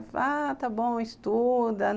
Ah, está bom, estuda.